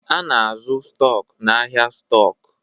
A na-azụ stọk n'ahịa stọk